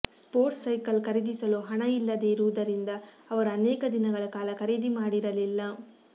sports cycle ಖರೀದಿಸಲು ಹಣ ಇಲ್ಲದೇ ಇರುವುದರಿಂದ ಅವರು ಅನೇಕ ದಿನಗಳ ಕಾಲ ಖರೀದಿ ಮಾಡಿರಲಿಲ್ಲ